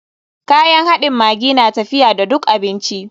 Kayan haɗin maggi na tafiya da duk abinci.